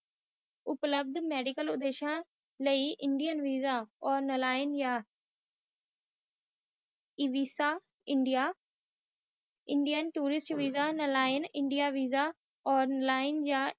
ਉਲਾਦ medical ਉਪਦੇਸ਼ ਲਾਇ India visa ਤ੍ਯ੍ਯ ਨਾਲਾਯੰ ਵੀਸਾ, ਐਵਸ ਜਾ ਇੰਡੀਆ ਟੂਸਿਸਟ ਵੀਸਾ ਜਾ ਨਾਲੀਆਂ ਵੀਸਾ